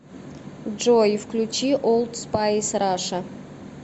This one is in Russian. джой включи олд спайс раша